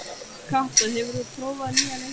Kata, hefur þú prófað nýja leikinn?